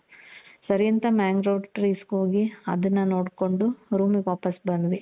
ಸರಿ ಅಂತ mangro trees ಗೆ ಹೋಗಿ ಅದುನ್ನ ನೋಡ್ಕೊಂಡು room ಗೆ ವಾಪಸ್ ಬಂದ್ವಿ.